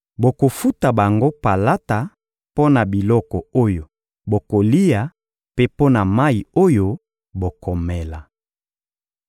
Bokofuta bango palata mpo na biloko oyo bokolia mpe mpo na mayi oyo bokomela.